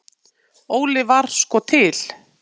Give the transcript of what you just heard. Óli var sko til.